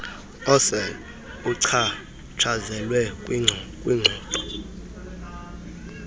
osel uchatshazelwe kwingxoxo